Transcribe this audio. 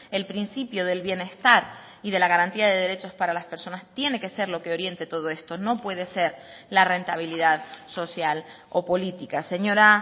el principio del bienestar y de la garantía de derechos para las personas tiene que ser lo que oriente todo esto no puede ser la rentabilidad social o política señora